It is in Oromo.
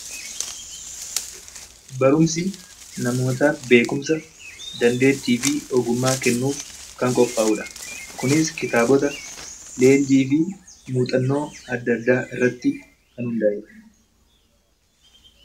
Barumsi namootaaf beekumsa dandeettii fi ogummaa kennuuf kan qophaa'u dha. Kunis kitaabota, leenjii fi muuxannoo adda addaa irratti hundaa'ee dha.